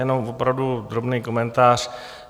Jenom opravdu drobný komentář.